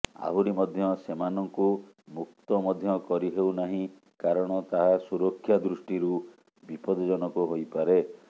ଆହୁରି ମଧ୍ୟ ସେମାନଙ୍କୁ ମୁକ୍ତ ମଧ୍ୟ କରିହେଉ ନାହିଁ କାରଣ ତାହା ସୁରକ୍ଷା ଦୃଷ୍ଟିକୋଣରୁ ବିପଦଜନକ ହୋଇପାରେ